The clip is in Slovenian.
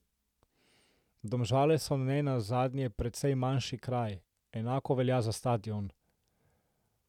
Domžale so ne nazadnje precej manjši kraj, enako velja za stadion.